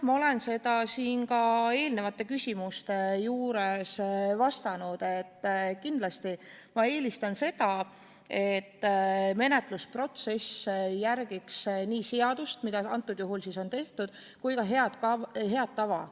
Ma olen seda ka eelnevatele küsimustele vastates öelnud, et kindlasti ma eelistan seda, et menetlusprotsessis järgitaks nii seadust, seda on praegusel juhul tehtud, kui ka head tava.